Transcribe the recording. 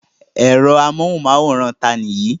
Ẹ̀rọ amóhùmáwòhán ta ni èyí?